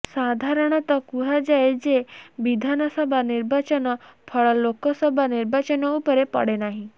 ସାଧାରଣତଃ କୁହାଯାଏ ଯେ ବିଧାନସଭା ନିର୍ବାଚନ ଫଳ ଲୋକସଭା ନିର୍ବାଚନ ଉପରେ ପଡ଼େନାହିଁ